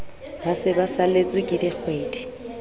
ba se ba saletsweke dikgwedi